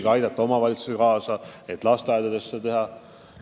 Ka tahame omavalitsustele kaasa aidata, et seda teha lasteaedadeski.